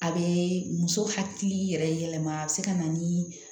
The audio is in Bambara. A bɛ muso hakili yɛrɛ yɛlɛma a bɛ se ka na ni